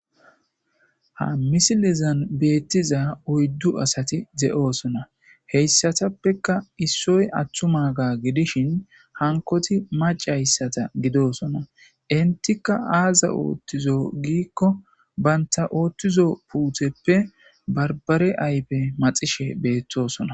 Ha misilizan beettiza oyddu asati ze7oosona heyssatappeka issoy aththuma ga gidishin hankoti macayssata gidosona intika aaza oothtizo giikko baynta oottizo puutheppe barbare aype maxishe beettosona